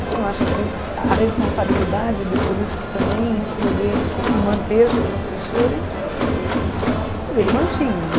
Você não acha que o a responsabilidade do político também em escolher o seu e manter seus assessores ela também, quer dizer, ele mantinha, né?